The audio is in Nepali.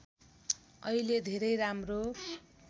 अहिले धेरै राम्रो